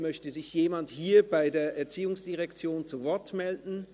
Möchte sich jemand hier bei der ERZ zu Wort melden?